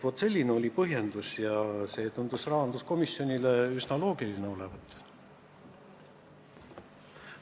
Vaat selline oli põhjendus ja see tundus rahanduskomisjonile üsna loogiline olevat.